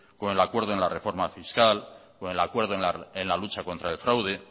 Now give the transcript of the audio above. con el acuerdo en la reforma fiscal con el acuerdo en la lucha contra el fraude